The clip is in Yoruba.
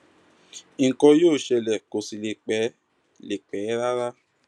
nǹkan yóò ṣẹlẹ kó sì lè pẹ lè pẹ rárá